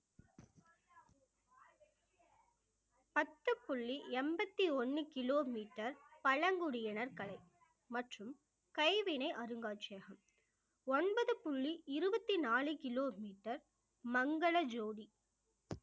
பத்து புள்ளி எண்பத்தி ஒண்ணு கிலோமீட்டர் பழங்குடியினர் கலை மற்றும் கைவினை அருங்காட்சியகம் ஒன்பது புள்ளி இருபத்தி நாலு கிலோமீட்டர் மங்கள ஜோதி